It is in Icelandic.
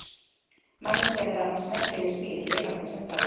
Manneskjan er annars merkileg smíð, lifandi sem dáin.